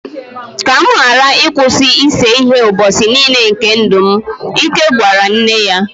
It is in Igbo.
ka m ghara ịkwụsị ịse ihe ụbọchị nile nke ndụ m, Ike gwara nne ya